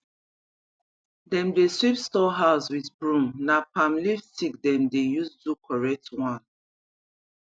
dem dey sweep store house with broom na palm leaf stick dem dey use do correct one